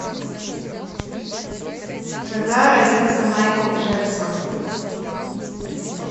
когда родился майкл джексон